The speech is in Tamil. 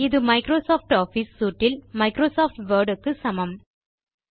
இது மைக்ரோசாப்ட் ஆஃபிஸ் சூட் இல் மைக்ரோசாப்ட் வேர்ட் க்கு சமம்